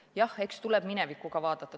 Jah, eks tuleb minevikku ka vaadata.